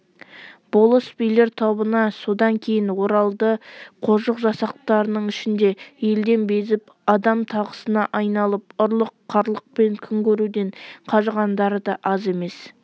болыс-билер тобына содан кейін оралды қожық жасақтарының ішінде елден безіп адам тағысына айналып ұрлық-қарлықпен күн көруден қажығандары да аз емес